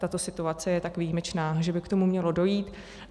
Tato situace je tak výjimečná, že by k tomu mělo dojít.